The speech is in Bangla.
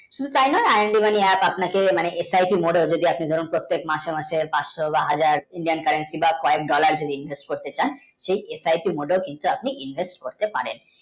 শুধু তাই নয় i and mani apps আপনাকে মানে asith mode ও যদি আপনি ধরেন প্রতিটি মাসে মাসে পাঁচশো বা হাজার Indian country বা কয়েক dollar যদি invest করতে চান সেই asait mode ওই কিন্তু আপনি invest করতে পারেন